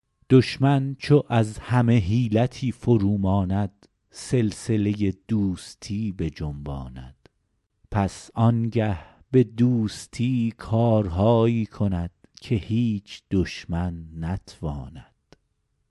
دشمن چو از همه حیلتی فرو ماند سلسله دوستی بجنباند پس آنگه به دوستی کارهایی کند که هیچ دشمن نتواند